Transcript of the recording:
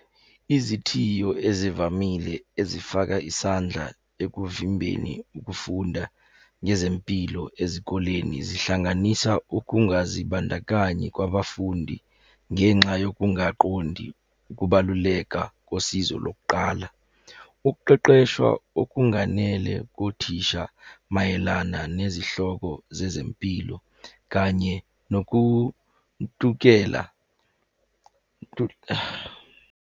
Izithiyo ezivamile ezifaka isandla ekuvimbeni ukufunda ngezempilo ezikoleni zihlanganisa ukungazibandakanyi kwabafundi ngenxa yokungaqondi ukubaluleka kosizo lokuqala. Ukuqeqeshwa okunganele kothisha mayelana nezihloko zezempilo kanye nokuntukela .